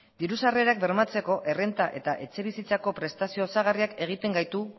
diru sarrerak bermatzeko errenta eta etxebizitzako prestazio osagarriak egiten gaitu